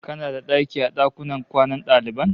Kana da daki a dakunan kwanan daliban?